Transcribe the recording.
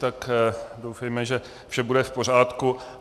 Tak doufejme, že vše bude v pořádku.